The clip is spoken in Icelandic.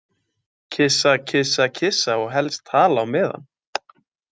Kyssa, kyssa, kyssa og helst tala á meðan.